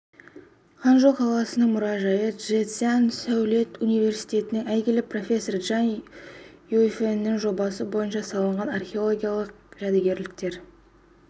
ханчжоу қаласының мұражайы чжэцзян сәулет университетінің әйгілі профессоры чжан юйфэньнің жобасы бойынша салынған ол археологиялық жәдігерліктер